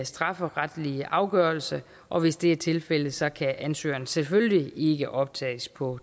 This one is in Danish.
strafferetlig afgørelse og hvis det er tilfældet så kan ansøgeren selvfølgelig ikke optages på